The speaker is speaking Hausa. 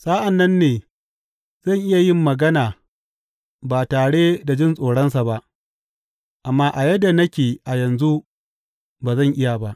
Sa’an nan ne zan iya yin magana ba tare da jin tsoronsa ba, amma a yadda nake a yanzu ba zan iya ba.